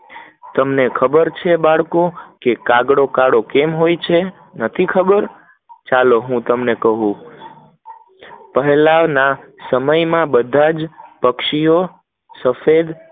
તમને ખબર છે બાળકો કાગડો કાળો કેમ હોય છે નથી ખબર? ચલો હું તમને કહું, પેહલા ના જમાનના બધા પક્ષીઓ સફેદ